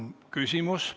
Küsimusi on.